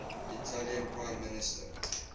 italian prime minister